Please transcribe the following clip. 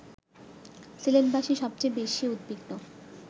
সিলেটবাসী সবচেয়ে বেশি উদ্বিগ্ন